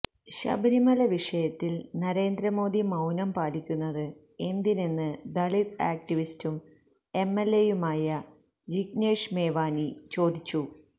ശബരിമല വിഷയത്തിൽ നരേന്ദ്രമോദി മൌനം പാലിക്കുന്നത് എന്തിനെന്ന് ദളിത് ആക്ടിവിസ്റ്റും എംഎൽഎയുമായ ജിഗ്നേഷ് മേവാനി ചോദിച്ചു